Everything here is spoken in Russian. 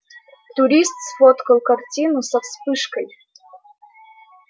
турист сфоткал картину со вспышкой